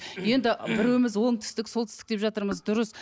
енді біреуіміз оңтүстік солтүстік деп жатырмыз дұрыс